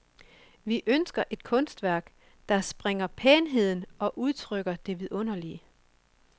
Vi ønsker et kunstværk, der sprænger pænheden og udtrykker det vidunderlige.